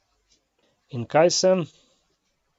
In kaj sem?